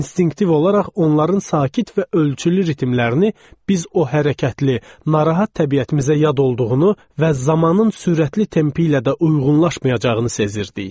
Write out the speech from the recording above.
İnstinktiv olaraq onların sakit və ölçülü ritmlərini biz o hərəkətli, narahat təbiətimizə yad olduğunu və zamanın sürətli tempi ilə də uyğunlaşmayacağını sezirdik.